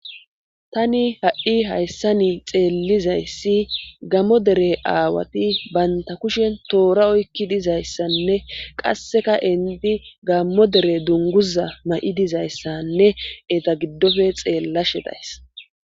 tani ha7i hayssa ni xeellizayssi gammo dere aawati banta kushen toora oykki dizayssanne qasseka inti gammo dere dunguza ma7i dizayssanne eta giddofe xeella shedays